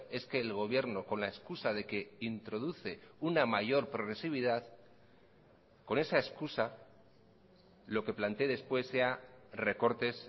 es que el gobierno con la excusa de que introduce una mayor progresividad con esa excusa lo que plantee despuéssea recortes